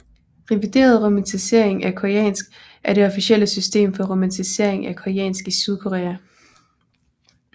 Revideret romanisering af koreansk er det officielle system for romanisering af koreansk i Sydkorea